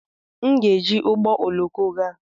M ga-eji ụgbọ oloko gaa.